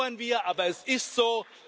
Das bedauern wir, aber es ist so.